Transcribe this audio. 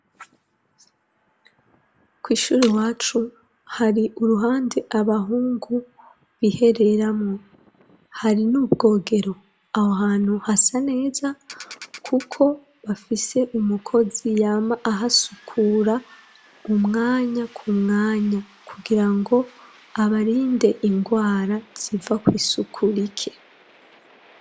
Kw'ishuri wacu hari uruhande abahungu bihereramwo hari n'ubwogero; aho hantu hasa neza kuko bafise umukozi yama ahasukura umwanya ku mwanya kugira ngo abarinde indwara ziva kw'isuku rike.